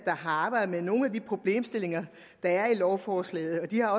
har arbejdet med nogle af de problemstillinger der er i lovforslaget de har